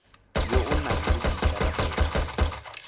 yo o nang le boikarabelo